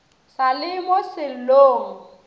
sa le mo sellong se